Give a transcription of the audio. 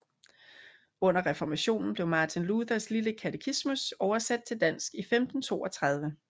Under Reformationen blev Martin Luthers lille Katekismus oversat til dansk i 1532